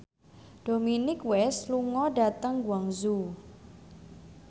Dominic West lunga dhateng Guangzhou